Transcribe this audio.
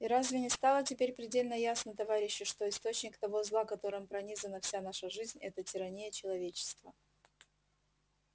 и разве не стало теперь предельно ясно товарищи что источник того зла которым пронизана вся наша жизнь это тирания человечества